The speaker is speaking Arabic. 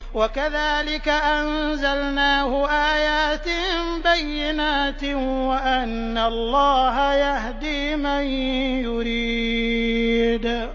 وَكَذَٰلِكَ أَنزَلْنَاهُ آيَاتٍ بَيِّنَاتٍ وَأَنَّ اللَّهَ يَهْدِي مَن يُرِيدُ